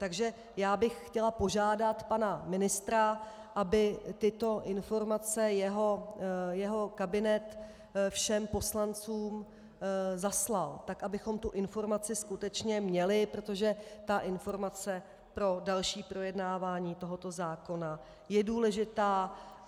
Takže já bych chtěla požádat pana ministra, aby tyto informace jeho kabinet všem poslancům zaslal, tak abychom tuto informaci skutečně měli, protože ta informace pro další projednávání tohoto zákona je důležitá.